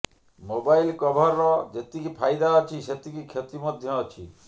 mobile କଭରର ଯେତିକି ଫାଇଦା ଅଛି ସେତିକି କ୍ଷତି ମଧ୍ୟ ଅଛି